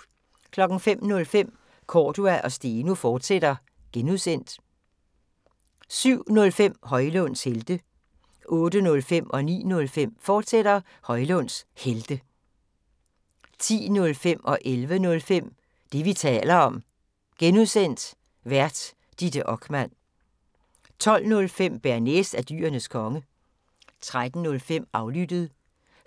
05:05: Cordua & Steno, fortsat (G) 07:05: Højlunds Helte 08:05: Højlunds Helte, fortsat 09:05: Højlunds Helte, fortsat 10:05: Det, vi taler om (G) Vært: Ditte Okman 11:05: Det, vi taler om (G) Vært: Ditte Okman 12:05: Bearnaise er Dyrenes Konge 13:05: Aflyttet